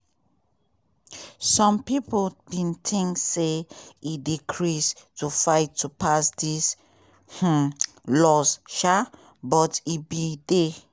some pipo bin tink say e dey craze to fight to pass dis um laws um but e bin dey